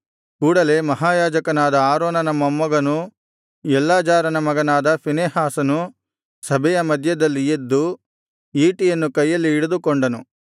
ಕೂಡಲೆ ಮಹಾಯಾಜಕನಾದ ಆರೋನನ ಮೊಮ್ಮಗನೂ ಎಲ್ಲಾಜಾರನ ಮಗನಾದ ಫೀನೆಹಾಸನು ಸಭೆಯ ಮಧ್ಯದಲ್ಲಿ ಎದ್ದು ಈಟಿಯನ್ನು ಕೈಯಲ್ಲಿ ಹಿಡಿದುಕೊಂಡನು